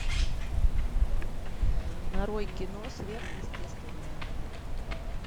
нарой кино сверхъестественное